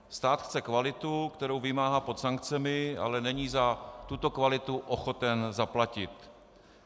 Stát chce kvalitu, kterou vymáhá pod sankcemi, ale není za tuto kvalitu ochoten zaplatit.